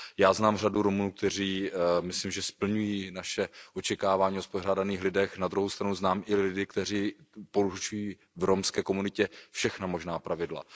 Já znám řadu Romů, kteří myslím, že splňují naše očekávání o spořádaných lidech, na druhou stranu znám i lidi, kteří porušují v romské komunitě všechna možná pravidla.